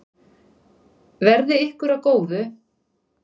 Verði ykkur að góðu.